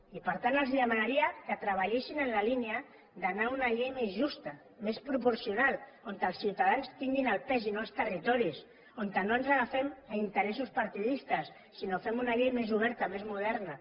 i per tant els demanaria que treballessin en la línia d’anar a una llei més justa més proporcional on els ciutadans tinguin el pes i no els territoris on no ens agafem a interessos partidistes sinó que fem una llei més oberta més moderna